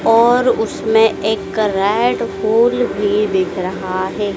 और उसमें एक रेड फुल दिख रहा हैं।